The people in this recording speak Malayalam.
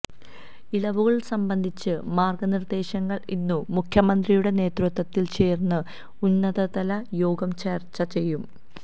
ഇളവുകൾ സംബന്ധിച്ച മാർഗനിർദേശങ്ങൾ ഇന്നു മുഖ്യമന്ത്രിയുടെ നേതൃത്വത്തിൽ ചേരുന്ന ഉന്നതതല യോഗം ചർച്ച ചെയ്യും